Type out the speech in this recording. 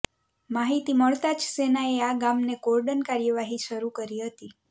માહિતી મળતા જ સેનાએ આ ગામને કોર્ડન કાર્યવાહી શરૂ કરી હતી